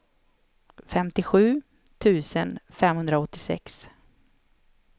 femtiosju tusen femhundraåttiosex